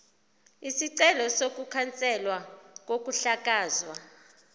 isicelo sokukhanselwa kokuhlakazwa